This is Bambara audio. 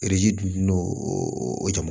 dun n'o jama ma